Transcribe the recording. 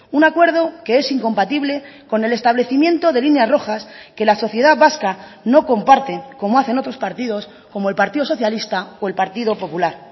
un acuerdo que es incompatible con el establecimiento de líneas rojas que la sociedad vasca no comparte como hacen otros partidos como el partido socialista o el partido popular